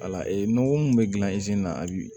Wala nɔgɔ min bɛ gilan na a bi